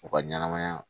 U ka ɲɛnɛmaya